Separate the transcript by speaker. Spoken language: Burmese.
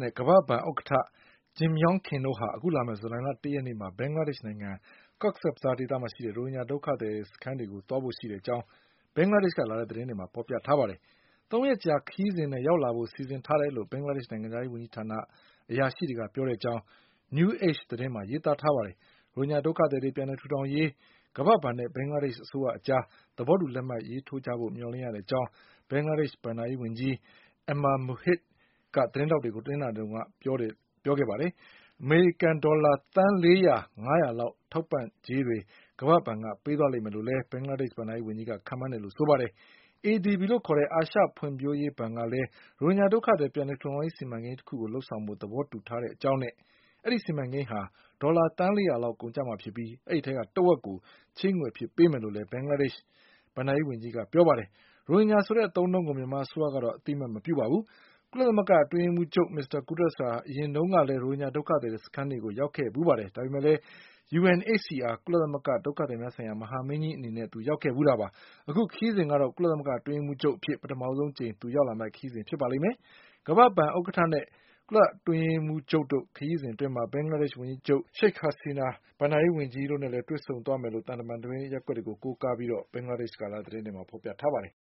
Speaker 1: နဲ့ ကမ္ဘာ့ဘဏ်ဥက္ကဌ Jim Yong Kim တို့ဟာ အခုလာမယ့် ဇူလိုင်လ ၁ရက်နေ့မှာ ဘင်္ဂလားဒေ့ရှ်နိုင်ငံ Cox’s Bazarဒေသမှာရှိတဲ့ ရိုဟင်ဂျာဒုက္ခသည်စခန်းတွေကိုသွားဖို့ရှိတဲ့အကြောင်း ဘင်္ဂလားဒေ့ရှ်က လာတဲ့သတင်းတွေမှာဖေါ်ပြထားပါတယ်။ သုံးရက်ကြာခရီးစဉ်နဲ့ရောက်လာဖို့စီစဉ်ထားတယ်လို့ ဘင်္ဂလားဒေ့ရှ်နိုင်ငံခြားရေးဝန်ကြီးဌာန အရာရှိတွေကပြောတဲ့အကြောင်း New Age သတင်းမှာရေးသားပါတယ်။ ရိုဟင် ဂျာဒုက္ခသည်တွေပြန်လည်ထူထောင်ရေး ကမ္ဘာ့ဘဏ်နဲ့ ဘင်္ဂလားဒေ့ရှ်အစိုးရအကြား သဘောတူလက်မှတ်ထိုးကြဖို့ မျှော်လင့်ရကြောင်း ဘင်္ဂလားဒေ့ရှ်ဘဏ္ဍာရေးဝန်ကြီး Ama Muhith က သတင်းထောက်တွေကို တနင်္လာနေ့တုန်းကပြော ခဲ့ပါတယ်။ အမေရိကန်ဒေါ်လာ သန်းလေးရာ ငါးရာလောက်ထောက်ပံ့ကြေးတွေ ကမ္ဘာ့ဘဏ်က ပေးသွားလိမ့်မယ်လို့ လည်း ဘင်္ဂလားဒေ့ရှ်ဘဏ္ဍာရေးဝန်ကြီးက ခန့်မှန်းတယ်လို့ဆိုပါတယ်။ ADBလို့ခေါ်တဲ့ အာရှဖွင့်ဖြိုးရေးဘဏ်ကလည်း ရိုဟင်ဂျာဒုက္ခသည်ပြန်လည်ထူထောင်ရေး စီမံကိန်းတခုကိုလုပ်ဆောင်ဖို့ သဘောတူထားတဲ့အကြောင်းနဲ့ ဒီစီမံကိန်းဟာ ဒေါ်လာသန်းလေးရာကုန်ကျမှာဖြစ်ပြီး တဝက်ကို ချေးငွေအဖြစ်ပေးမယ်လို့လည်း ဘင်္ဂလားဒေ့ချ် ဘဏ္ဍာရေးဝန်ကြီးက ပြောပါတယ်။ ရိုဟင်ဂျာဆိုတဲ့အသုံးအနှုန်းကို မြန်မာအစိုးရကတော့ အသိအမှတ်မပြုပါဘူး။ ကုလသမဂ္ဂအတွင်းရေးမှုးချုပ် မစ္စတာ Guterresဟာ အရင်တုန်းကလည်း ရိုဟင်ဂျာဒုက္ခသည်စခန်းတွေကို ရောက်ခဲ့ဖူးတယ်ဆိုပေမဲ့ UNHCR ကုလသမဂ္ဂဒုက္ခသည်များဆိုင်ရာ မဟာမင်းကြီးအနေနဲ့ရောက်ခဲ့ဖူးတာပါ။ အခုခရီးစဉ်ကတော့ ကုလသမဂ္ဂအတွင်းရေးမှုး ချုပ်အဖြစ် ပထမဆုံးအကြိမ်ရောက်လာမယ့်ခရီးစဉ်ဖြစ်ပါလိမ့်မယ်။ ကမ္ဘာ့ဘဏ်ဥက္ကဌနဲ့ ကုလအတွင်းအရေးမှုးချုပ်တို့ ခရီး စဉ်အတွင်း ဘင်္ဂလားဒေ့ချ်ဝန်ကြီးချုပ် Sheik Hasina ဘဏ္ဍာရေးဝန်ကြီး Ama Muhithတို့နဲ့လည်း တွေ့ဆုံဆွေးနွေးသွား ဖို့ရှိတဲ့အကြောင်း သံတမန်သတင်းရပ်ကွက်ကို ကိုးကားပြီး ဘင်္ဂလားဒေ့ချ်ကလာတဲ့သတင်းတွေမှာဖေါ်ပြထားပါတယ်